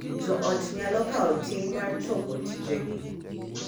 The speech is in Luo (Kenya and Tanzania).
Jo ot nyalo kawo ting’ mar chopo tijegi.